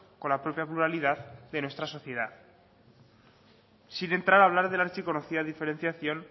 con la propia pluralidad de nuestra sociedad sin entrar a hablar de la archiconocida diferenciación